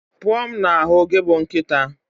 Pụọ m na ahu gị bụ nkịta